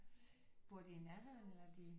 Bor de i nærheden eller er de